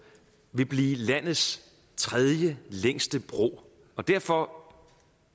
vil blive landets tredjelængste bro og derfor